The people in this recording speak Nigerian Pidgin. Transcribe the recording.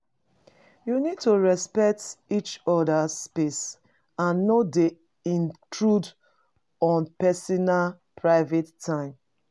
You need to respect each other's space, and no dey intrude on pesinal's private time.